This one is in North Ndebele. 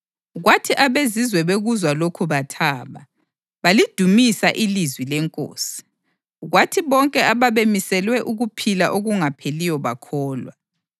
Kwathi abeZizwe bekuzwa lokhu bathaba, balidumisa ilizwi leNkosi; kwathi bonke ababemiselwe ukuphila okungapheliyo bakholwa.